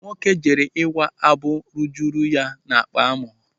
Nwoke jere ịwa abụ rujuru ya n'akpa amụ.